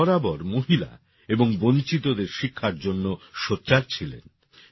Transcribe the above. তিনি বরাবর মহিলা এবং বঞ্চিতদের শিক্ষার জন্যে সোচ্চার ছিলেন